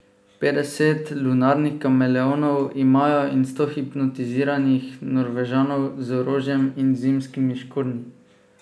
Petdeset lunarnih kameleonov imajo in sto hipnotiziranih Norvežanov z orožjem in zimskimi škornji.